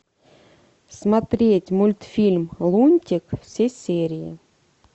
смотреть мультфильм лунтик все серии